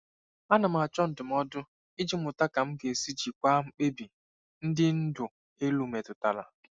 Ana m achọ ndụmọdụ iji mụta ka m ga-esi jikwaa mkpebi ndị ndu elu metụtara.